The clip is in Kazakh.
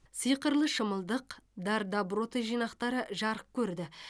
сиқырлы шымылдық дар доброты жинақтары жарық көрді